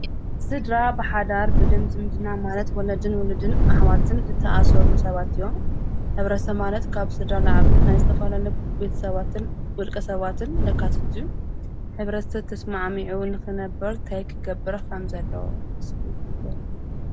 ዝድራ ብሓዳር ብደም ዝምድና ማለት ወለድን ውሉድን ኣኅዋትን ተኣሠሩሉ ሰባት እዮም ኅብረ ሰማነት ካብ ሥዳ ለዓብን ናይ ዝተፈልለ ቤት ሰባትን ውልቀ ሰባትን ደካትቱ ኅብረስተት ተስመዓሚዑን ኽነበር ተይ ክገብረ ኻም ዘለዎ ስገሎ